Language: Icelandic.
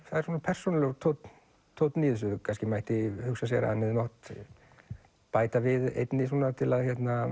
það er svona persónulegur tónn tónn í þessu kannski mætti hugsa sér að hann hefði mátt bæta við einni til að